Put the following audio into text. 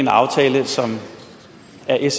er det